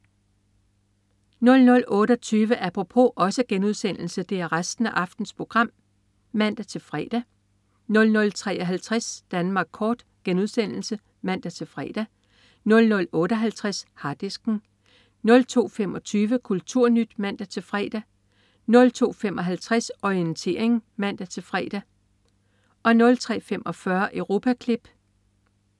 00.28 Apropos* (man-fre) 00.53 Danmark kort* (man-fre) 00.58 Harddisken* 02.25 KulturNyt* (man-fre) 02.55 Orientering* (man-fre) 03.45 Europaklip*